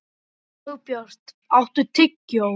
Dagbjört, áttu tyggjó?